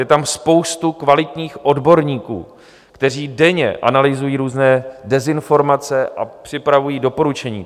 Je tam spousta kvalitních odborníků, kteří denně analyzují různé dezinformace a připravují doporučení.